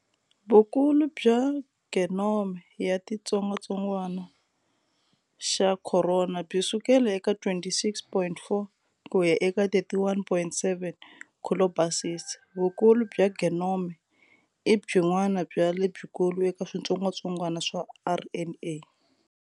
Vukulu bya genome ya ti xitsongatsongwana xa khorona byi sukela eka 26.4 ku ya eka 31.7 kilobases. Vukulu bya genome i byin'wana bya lebyikulu eka switsongwatsongwana swa RNA.